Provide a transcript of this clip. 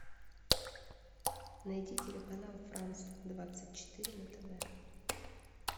найди телеканал франс двадцать четыре на тв